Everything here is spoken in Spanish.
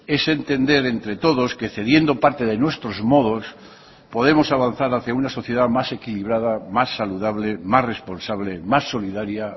es entender entre todos que cediendo parte de nuestros modos podemos avanzar hacia una sociedad más equilibrada más saludable más responsable más solidaria